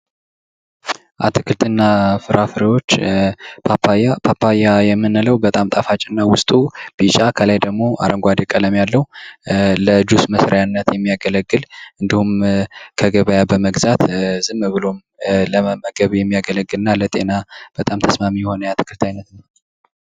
አትክልት እና ፊራፊረዎች ፓፓያ ፓፓያ የሚኒለው በጣም ታፋጭ እና በዉስጡ አረንጓደ ቀለም ያለው ለጁስ መሲሪያነት የሚያገለግል እንዲሁም ከገበያ በመግዛት ዝም ብሎ ለመመገብ የሚያገለግል እነ ለጤና በጣም ተስማሜ የሆነ የአትክልት አይነት ነው